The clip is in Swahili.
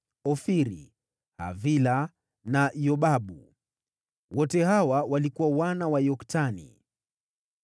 Ofiri, Havila na Yobabu. Wote hawa walikuwa wana wa Yoktani.